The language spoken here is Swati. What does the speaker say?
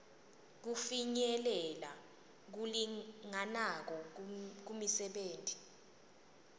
kufinyelela lokulinganako kumisebenti